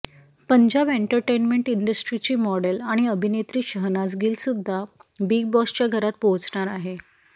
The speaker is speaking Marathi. पंजाब एंटरटेनमेण्ट इंडस्ट्रीची मॉडेल आणि अभिनेत्री शहनाज गिल सुद्धा बिग बॉसच्या घरात पोहचणार आहे